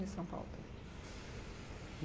De São Paulo também.